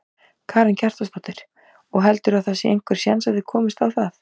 Karen Kjartansdóttir: Og heldurðu að það sé einhver séns að þið komist á það?